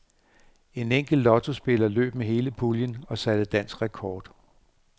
En enkelt lottospiller løb med hele puljen og satte dansk rekord.